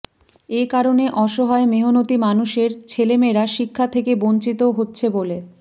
এ কারণে অসহায় মেহনতি মানুষের ছেলেমেয়েরা শিক্ষা থেকে বঞ্চিত হচ্ছে বলে